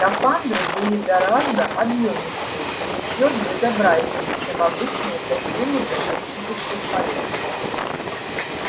скафандры были гораздо объёмистее и ещё безобразнее чем обычные костюмы для космических полётов